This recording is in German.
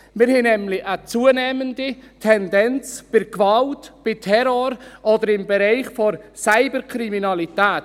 Wir haben nämlich eine zunehmende Tendenz bei Gewalt, bei Terror oder im Bereich der Cyberkriminalität.